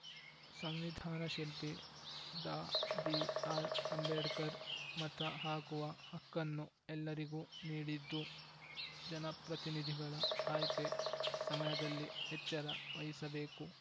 ಸಂವಿಧಾನ ಶಿಲ್ಪಿ Dr BR Ambedkar ಮತ ಹಾಕುವ ಹಕ್ಕನ್ನು ಎಲ್ಲರಿಗೂ ನೀಡಿದ್ದು ಜನಪ್ರತಿನಿಧಿಗಳು ಆಯ್ಕೆ ಸಮಯದಲ್ಲಿ ಎಚ್ಚರ ವಹಿಸಬೇಕು